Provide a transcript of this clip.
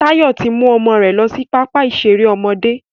Tayọ tí mú ọmọ rẹ lọ sí pápá ìṣeré ọmọdé